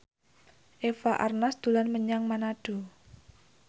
Eva Arnaz dolan menyang Manado